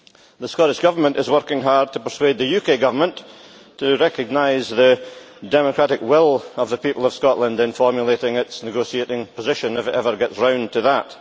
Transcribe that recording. The Scottish Government is working hard to persuade the UK Government to recognise the democratic will of the people of Scotland in formulating its negotiating position, if it ever gets round to that.